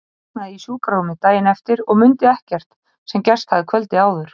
Ég vaknaði í sjúkrarúmi daginn eftir og mundi ekkert sem gerst hafði kvöldið áður.